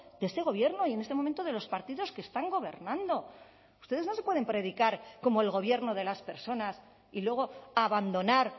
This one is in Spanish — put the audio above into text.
de este gobierno y en este momento de los partidos que están gobernando ustedes no se pueden predicar como el gobierno de las personas y luego abandonar